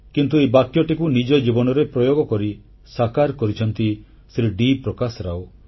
କିନ୍ତୁ ଏହି ବାକ୍ୟକୁ ନିଜ ଜୀବନରେ ପ୍ରୟୋଗ କରି ସାକାର କରିଛନ୍ତି ଶ୍ରୀ ଡି ପ୍ରକାଶ ରାଓ